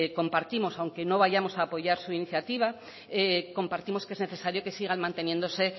compartimos aunque no vayamos a apoyar su iniciativa compartimos que es necesario que sigan manteniéndose